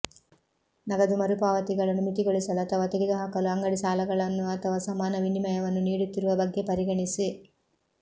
ನಗದು ಮರುಪಾವತಿಗಳನ್ನು ಮಿತಿಗೊಳಿಸಲು ಅಥವಾ ತೆಗೆದುಹಾಕಲು ಅಂಗಡಿ ಸಾಲಗಳನ್ನು ಅಥವಾ ಸಮಾನ ವಿನಿಮಯವನ್ನು ನೀಡುತ್ತಿರುವ ಬಗ್ಗೆ ಪರಿಗಣಿಸಿ